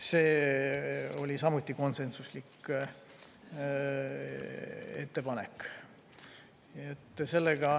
See oli samuti konsensuslik ettepanek.